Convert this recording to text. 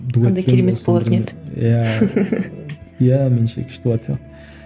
қандай керемет болатын еді иә иә меніңше күшті болатын сияқты